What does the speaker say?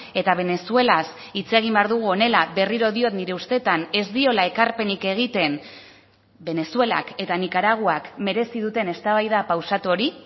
eta venezuelaz hitz egin behar dugu honela berriro diot nire ustetan ez diola ekarpenik egiten venezuelak eta nikaraguak merezi duten eztabaida pausatu hori